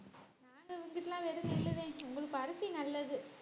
நாங்க இங்கிட்டுலாம் வெறும் நெல்லுதான் உங்களுக்கு பருத்தி நல்லது